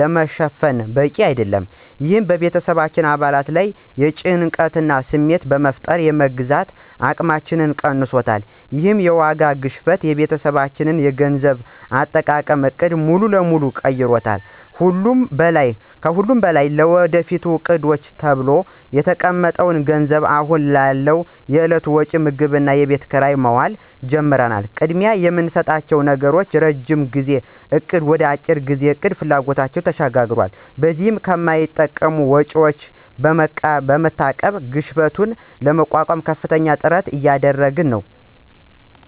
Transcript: ለመሸፈን በቂ አይደለም። ይህ በቤተሰብ አባላት ላይ የጭንቀት ስሜት በመፍጠር የመግዛት አቅማችንን ቀንሶታል። ይህ የዋጋ ግሽበት የቤተሰባችንን የገንዘብ አጠቃቀም ዕቅድ ሙሉ በሙሉ ቀይሮታል። ከሁሉም በላይ ለወደፊት ዕቅዶች ተብሎ የተቀመጠው ገንዘብ አሁን ላለው የዕለት ወጪ (ምግብና የቤት ኪራይ) መዋል ጀምሯል። ቅድሚያ የምንሰጠው ነገር ከረዥም ጊዜ እቅድ ወደ የአጭር ጊዜ ፍላጎቶች ተሸጋግሯል። በዚህም ከማይጠቅሙ ወጪዎች በመታቀብ ግሽበቱን ለመቋቋም ከፍተኛ ጥረት እያደረግን ነው።